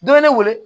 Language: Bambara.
Dɔ ye ne wele